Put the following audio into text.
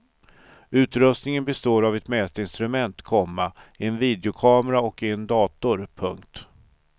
Utrustningen består av ett mätinstrument, komma en videokamera och en dator. punkt